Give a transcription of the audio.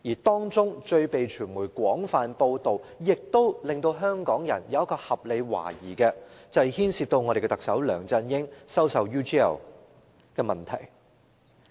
當中最被傳媒廣泛報道，亦令香港人有合理懷疑的，便是牽涉特首梁振英收受 UGL 金錢的問題。